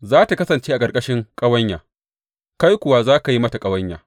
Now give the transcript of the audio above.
Za tă kasance a ƙarƙashin ƙawanya, kai kuwa za ka yi mata ƙawanya.